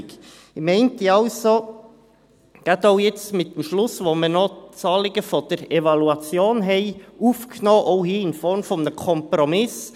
Ich meinte also, gerade auch jetzt mit dem Schluss, wo wir noch das Anliegen der Evaluation aufgenommen haben, ist es auch hier in Form eines Kompromisses: